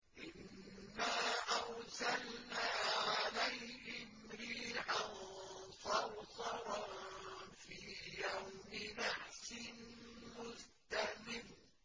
إِنَّا أَرْسَلْنَا عَلَيْهِمْ رِيحًا صَرْصَرًا فِي يَوْمِ نَحْسٍ مُّسْتَمِرٍّ